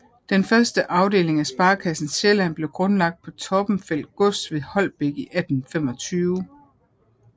Den første afdeling af Sparekassen Sjælland blev grundlagt på Torbenfeldt gods ved Holbæk i 1825